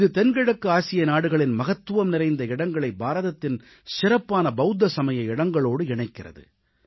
இது தென்கிழக்கு ஆசிய நாடுகளின் மகத்துவம் நிறைந்த இடங்களை பாரதத்தின் சிறப்பான பவுத்த சமய இடங்களோடு இணைக்கிறது